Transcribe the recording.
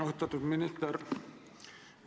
Austatud minister!